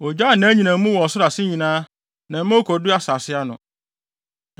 Ogyaa nʼanyinam mu wɔ ɔsoro ase nyinaa na ɔma ekodu asase ano.